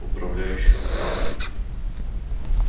управляющим в банке